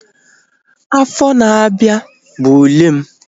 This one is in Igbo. Afọ na-abịa bụ ule m